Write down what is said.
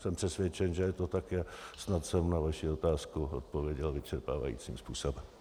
Jsem přesvědčen, že je to tak, snad jsem na vaši otázku odpověděl vyčerpávajícím způsobem.